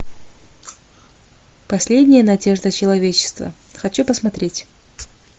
последняя надежда человечества хочу посмотреть